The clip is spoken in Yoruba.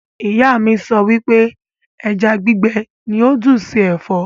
Ìyá mi sọ wípé ẹja gbígbé ní ó dùn ṣe Ẹ̀fọ́